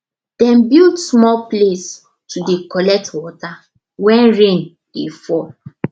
dem build small place to dey collect water when rain dey fall